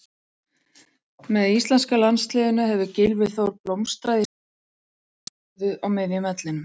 Með íslenska landsliðinu hefur Gylfi Þór blómstrað í sinni sterkustu stöðu á miðjum vellinum.